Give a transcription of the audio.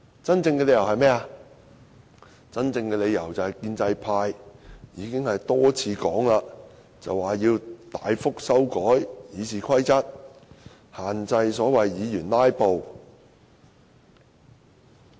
真正的理由是，正如建制派已經多次說明，要大幅修改《議事規則》，限制議員"拉布"。